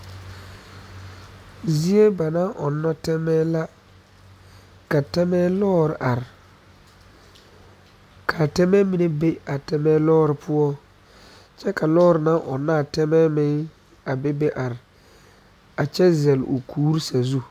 Zie ba naŋ ɔnnɔ tɛnɛɛ la ka tɛnɛɛ lɔɔre are kaa tɛmɛɛ mine be a tɛmɛɛ lɔɔre poɔ kyɛ ka lɔɔre naŋ ɔnnɔ a tɛmɛɛ meŋ a be be are a kyɛ zele o kuuri sazu